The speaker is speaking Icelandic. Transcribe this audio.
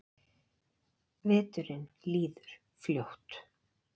Veturinn líður fljótt.